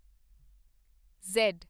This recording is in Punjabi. ਜ਼ੈਡ